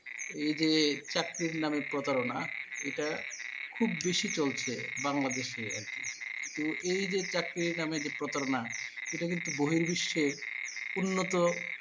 এই যে চাকরির নামে প্রতারনা এটা খুব বেশি চলছে বাংলাদেশে আর কি। কিন্তু এই যে চাকরি নামে যে প্রতারনা এটা কিন্তু বহির্বিশ্বের উন্নত